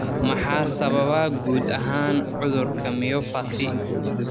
Maxaa sababa guud ahaan cudurka myopathy?